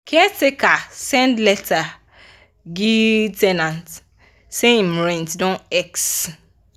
caretaker send letter gie ten ant say him rent don x